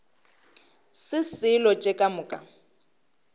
se selo tše ka moka